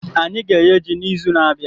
Anyị ga-eghe ji n'izu na-abịa.